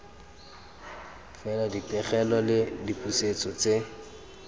fela dipegelo le dipusetso tse